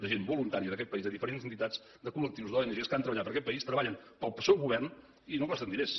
de gent voluntària d’aquest país de diferents entitats de col·lectius d’ong que han treballat per aquest país treballen per al seu govern i no costen diners